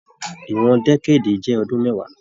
Ìwọn dẹ̀kèdí jẹ ọdún mẹwàá.